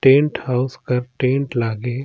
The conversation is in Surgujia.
टेंट हाउस कर टेंट लागे --